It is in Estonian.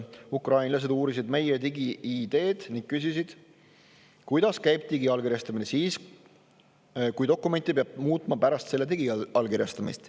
Ukrainlased uurisid meie digi-ID-d ning küsisid, kuidas käib digiallkirjastamine siis, kui valikut peab muutma pärast selle digiallkirjastamist.